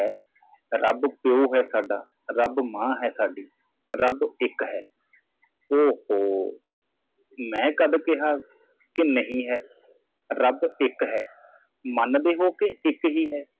ਰੱਬ ਪਿਓ ਹੈ ਸਾਡਾ ਰੱਬ ਮਾਂ ਹੈ ਸਾਡੀ ਰੱਬ ਇੱਕ ਹੈ ਓ ਹੌ ਮੈਂ ਕਦੋਂ ਕਿਹਾ ਕਿ ਨਹੀ ਹੈ ਰੱਬ ਇੱਕ ਹੈ ਮੰਨਦੇ ਹੋ ਕਿ ਇੱਕ ਹੀ ਹੈ